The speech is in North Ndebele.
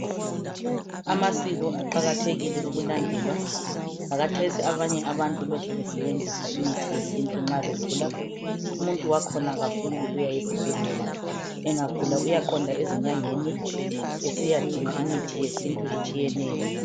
Amasiko aqakathekile ukulandelwa lakhathesi abanye abantu lokhe besebenzisa imithi yesintu nxa begula umuntu wakhona kafuni ukuya esibhedlela. Engagula uyaqonda ezinyangeni esiyadinga imithi yesintu etshiyeneyo.